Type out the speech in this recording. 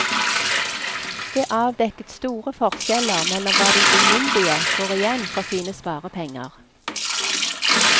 Det avdekket store forskjeller mellom hva de umyndige får igjen for sine sparepenger.